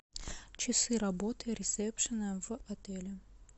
часы работы ресепшена в отеле